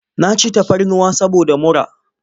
Na ci tafarnuwa saboda mura.